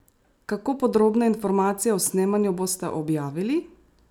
Kako podrobne informacije o snemanju boste objavili?